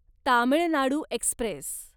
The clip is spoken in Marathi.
तामिळ नाडू एक्स्प्रेस